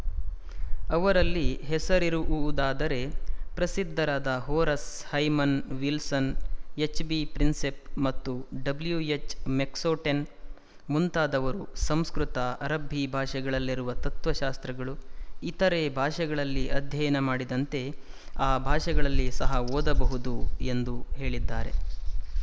ಅವರಲ್ಲಿ ಹೆಸರಿವುವುದಾದರೆ ಪ್ರಸಿದ್ಧರಾದ ಹೊರೆಸ್ ಹೈಮನ್ ವಿಲ್ಸನ್ ಎಚ್ಬಿಪ್ರಿನ್ಸೆಪ್ ಮತ್ತು ಡಬ್ಲೂ ಎಚ್ ಮೆಕ್ನೊಟೆನ್ ಮುಂತಾದವರು ಸಂಸ್ಕೃತ ಅರಬ್ಬಿ ಭಾಷೆಗಳಲ್ಲಿರುವ ತತ್ವಶಾಸ್ತ್ರಗಳು ಇತರೆ ಭಾಷೆಗಳಲ್ಲಿ ಅಧ್ಯಯನ ಮಾಡಿದಂತೆ ಆ ಭಾಷೆಗಳಲ್ಲಿ ಸಹ ಓದಬಹುದು ಎಂದು ಹೇಳಿದ್ದಾರೆ